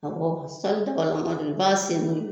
Awɔ sɔli dabalama de don, i b'a sen n'o ye